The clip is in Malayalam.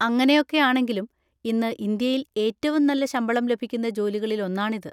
അങ്ങനെയൊക്കെയാണെങ്കിലും, ഇന്ന് ഇന്ത്യയിൽ ഏറ്റവും നല്ല ശമ്പളം ലഭിക്കുന്ന ജോലികളിൽ ഒന്നാണിത്.